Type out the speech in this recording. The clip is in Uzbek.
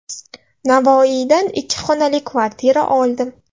Navoiydan ikki xonali kvartira oldim.